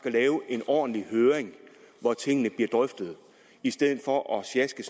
lave en ordentlig høring hvor tingene bliver drøftet i stedet for at sjaske